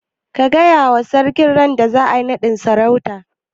Ka gaya wa sarki randa za'a yi naɗin sarautan?